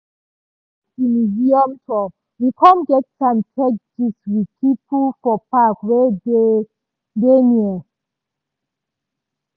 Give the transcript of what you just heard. as we miss di museum tour we com get time take gist with people for park wey dey near.